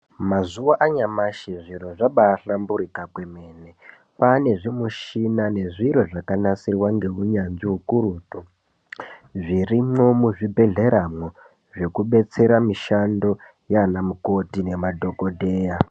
Mazuwa anyamashi zviro zvabahlamburika kwemene , Kane zvimushina nezviro zvakanasirwa neunyanzvi ukurutu zvirimwo muzvibhedhleramwo zvekubetsera mishando yana mukoti nemadhokodheya.